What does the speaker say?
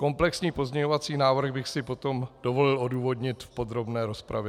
Komplexní pozměňovací návrh bych si potom dovolil odůvodnit v podrobné rozpravě.